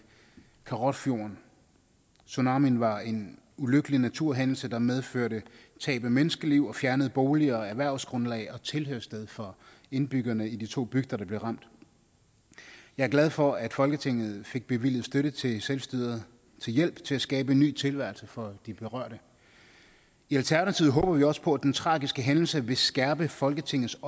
karrats fjord tsunamien var en ulykkelig naturhændelse der medførte tab af menneskeliv og fjernede boliger erhvervsgrundlag og tilhørssted for indbyggerne i de to bygder der blev ramt jeg er glad for at folketinget fik bevilget støtte til selvstyret til hjælp til at skabe en ny tilværelse for de berørte i alternativet håber vi også på at den tragiske hændelse vil skærpe folketingets